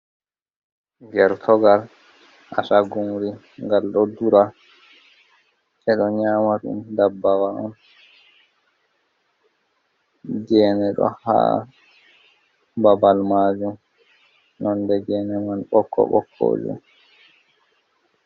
Gertugal Asgumri ngal ɗo dura ɓeɗo nyama ɗum ndabbawa on, gene ɗon ha Babal majum Nonde gene man boƙƙo boƙko jum.